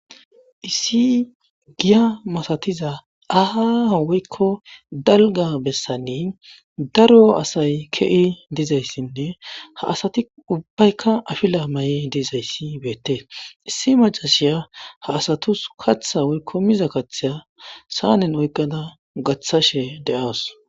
issi giya masatiza aahho woykko dalga bessani daro asay kei dizayssinne ha asati ubbaykka afila ma7e diizayssi beette issi macasiya ha asatus katha woykko miza katheya saanen oykqada gaththashe de'awus